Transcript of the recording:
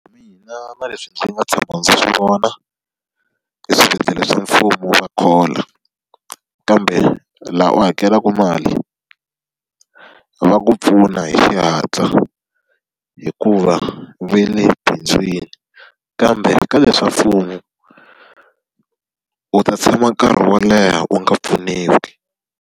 Mina na leswi ndzi nga tshama ndzi swi vona, eswibedhlele swa mfumo va khola. Kambe laha u hakelaka mali, va ku pfuna hi xihatla hikuva va le bindzwini. Kambe ka leswa mfumo, u ta tshama nkarhi wo leha u nga pfuniwi.